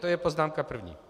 To je poznámka první.